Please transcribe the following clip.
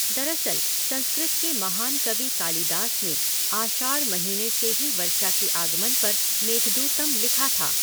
दरअसल, संस्कृत के महान कवि कालिदास ने आषाढ़ महीने से ही वर्षा के आगमन पर मेघदूतम् लिखा था।